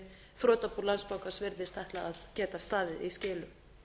þrotabú landsbankans virðist ætla að geta staðið í skilum